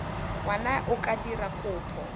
ngwana a ka dira kopo